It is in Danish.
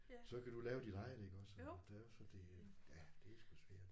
Så kan du lave dit eget iggås og det er også fordi ja det er sgu svært